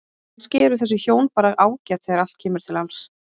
Kannski eru þessi hjón bara ágæt þegar allt kemur til alls.